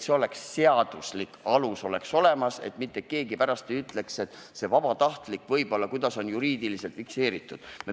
Selleks peaks olema seaduslik alus, et mitte keegi pärast ei ütleks, et see on vabatahtlik ja kuidas see asi on ikkagi juriidiliselt fikseeritud.